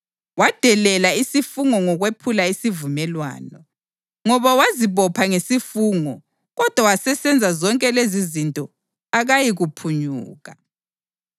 Wadelela isifungo ngokwephula isivumelwano. Ngoba wazibopha ngesifungo kodwa wasesenza zonke lezizinto akayikuphunyuka.